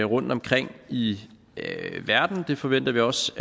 rundtomkring i verden og det forventer vi også